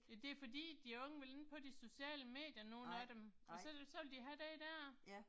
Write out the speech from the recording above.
Ja det fordi de unge vil ikke på de sociale medier nogen af dem og så vil så vil de have den der